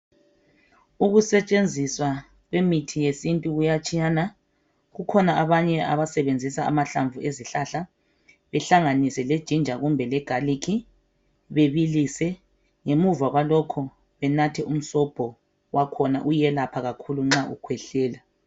ukusetshenziswa kwemithi yesintu kuyatshiyana kukhona abanye abasebenzisa amahlamvu ezihlahla behlanganise le ginger le garlic bebilise ngemuva kwalokho benathe umsobho wakhona uyelapha kakhulu nxa ukhwehlela